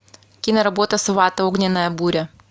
киноработа сват огненная буря